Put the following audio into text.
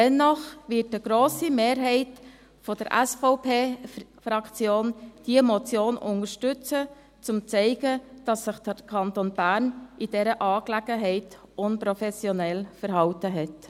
Dennoch wird eine grosse Mehrheit der SVP-Fraktion diese Motion unterstützen, um zu zeigen, dass sich der Kanton Bern in dieser Angelegenheit unprofessionell verhalten hat.